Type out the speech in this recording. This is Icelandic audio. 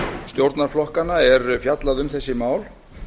stjórnarflokkanna er fjallað um þessi mál